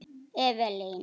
Evelyn